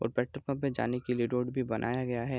और petrol pump पे जाने के लिए रोड भी बनाया गया है।